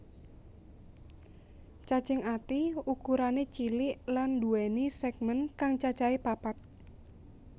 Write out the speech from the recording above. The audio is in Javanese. Cacing ati ukurané cilik lan nduwèni sègmèn kang cacahé papat